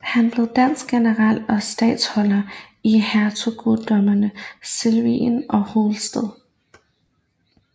Han blev dansk general og statholder i hertugdømmerne Slesvig og Holsten